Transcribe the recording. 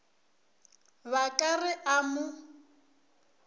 ba ka re a mo